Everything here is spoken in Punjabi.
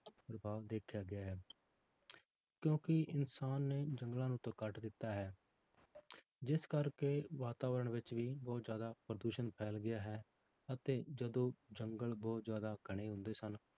ਪ੍ਰਭਾਵ ਦੇਖਿਆ ਗਿਆ ਹੈ ਕਿਉਂਕਿ ਇਨਸਾਨ ਨੇ ਜੰਗਲਾਂ ਨੂੰ ਤਾਂ ਕੱਟ ਦਿੱਤਾ ਹੈ ਜਿਸ ਕਰਕੇ ਵਾਤਾਵਰਨ ਵਿੱਚ ਵੀ ਬਹੁਤ ਜ਼ਿਆਦਾ ਪ੍ਰਦੂਸ਼ਣ ਫੈਲ ਗਿਆ ਹੈ, ਅਤੇ ਜਦੋਂ ਜੰਗਲ ਬਹੁਤ ਜ਼ਿਆਦਾ ਘਣੇ ਹੁੰਦੇ ਸਨ,